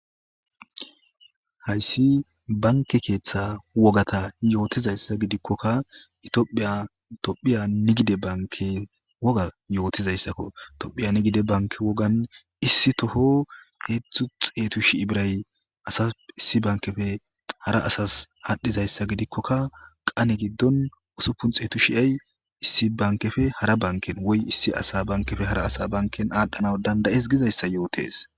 Hayssi bankke keththa wogga yothiza gidikokk ethophiya nigde banke wogga yothizaysakko thophiya nigde banken issotho hezzo xettu shi birrayi issi bankeppe hara assas adhiza gidikokka qane gon ussuppu xettu sha birray issi bankeppe hara assa banke adhanawu dandae'ss gizayssa yothess.